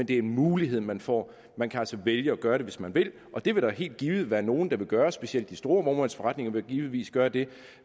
det er en mulighed man får man kan altså vælge at gøre det hvis man vil og det vil der helt givet være nogle der vil gøre specielt de store vognmandsforretninger vil givetvis gøre det